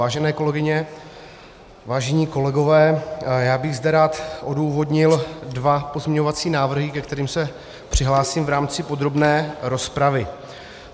Vážené kolegyně, vážení kolegové, já bych zde rád odůvodnil dva pozměňovací návrhy, ke kterým se přihlásím v rámci podrobné rozpravy.